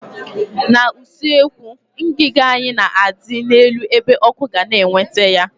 N' usekwu, ngiga anyị na adị n'elu ebe ọkụ ga na eweta ya